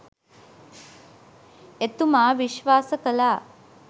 එතුමා විශ්වාස කළා